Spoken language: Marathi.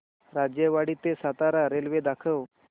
राजेवाडी ते सातारा रेल्वे दाखव